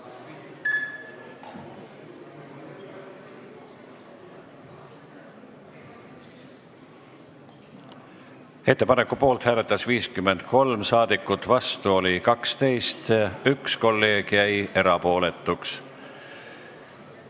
Hääletustulemused Ettepaneku poolt hääletas 53 saadikut, vastu oli 12, 1 kolleeg jäi erapooletuks.